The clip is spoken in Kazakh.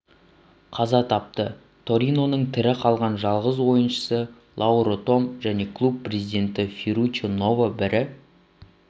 қаза тапты ториноның тірі қалған жалғыз ойыншысы лауро том және клуб президенті ферруччо ново бірі